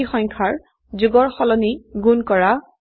দুটি সংখ্যাৰ যোগৰ সলনি গুণ কৰা